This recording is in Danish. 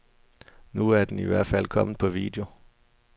Nu er den i hvert fald kommet på video.